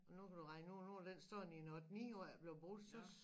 Og nu kan du regne ud nu har den stået i et 8 9 år og er ikke blevet brugt så